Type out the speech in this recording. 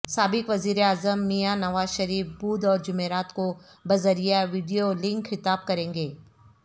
سابق وزیراعظم میاں نوازشریف بدھ اور جمعرات کو بذریعہ ویڈیو لنک خطاب کریں گے